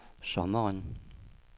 sommeren